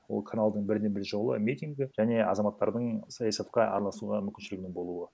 ол каналдың бірден бір жолы митингі және азаматтардың саясатқа араласуға мүмкіншілігінің болуы